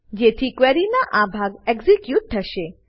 જેથી ક્વેરીનો આ ભાગ એક્ઝીક્યુટ થશે